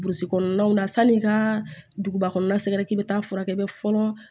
Burusi kɔnɔnaw na sanni i ka duguba kɔnɔna sɛgɛrɛ k'i be taa furakɛ fɔlɔ